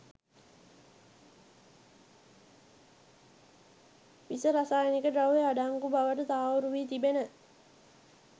විස රසායනික ද්‍රව්‍ය අඩංගු බවට තහවුරු වී තිබෙන